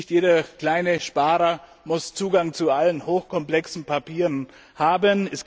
Nicht jeder kleine Sparer muss Zugang zu allen hochkomplexen Papieren haben.